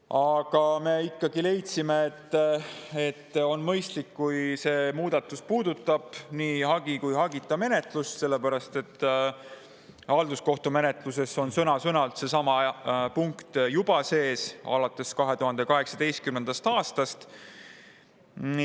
Aga me ikkagi leidsime, et on mõistlik, et see muudatus puudutab nii hagi- kui hagita menetlust, sellepärast et halduskohtumenetluse on sõna-sõnalt seesama punkt sees juba alates 2018. aastast.